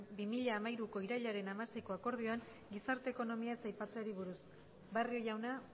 bi mila hamairuko irailaren hamaseiko akordioan gizarte ekonomia ez aipatzeari buruz barrio jauna